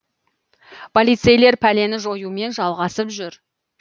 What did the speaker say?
полицейлер пәлені жоюмен жалғасып жүр